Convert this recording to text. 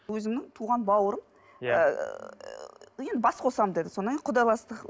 өзімнің туған бауырым иә енді бас қосамын деді содан кейін құдаластық